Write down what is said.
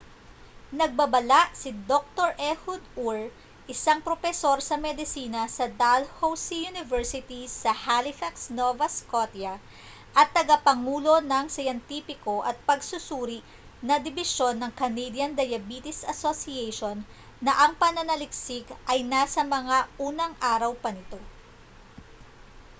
nagbabala si dr ehud ur isang propesor sa medisina sa dalhousie university sa halifax nova scotia at tagapangulo ng siyentipiko at pagsusuri na dibisyon ng canadian diabetes association na ang pananaliksik ay nasa mga unang araw pa nito